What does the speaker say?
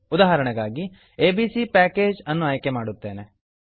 ಉದಾಹರಣೆಗಾಗಿ ABC package A B C package ಅನ್ನು ಆಯ್ಕೆ ಮಾಡುತ್ತೇನೆ